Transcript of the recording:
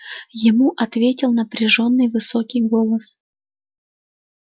ему ответил напряжённый высокий голос